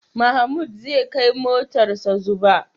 Mahmud zai kai motarsa Zuba.